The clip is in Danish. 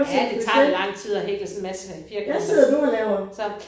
Ja det tager da lang tid at hækle sådan en masse firkanter så